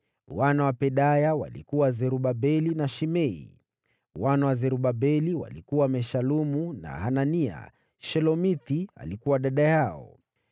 Wana wa Pedaya walikuwa: Zerubabeli na Shimei. Wana wa Zerubabeli walikuwa: Meshulamu na Hanania. Shelomithi alikuwa dada yao.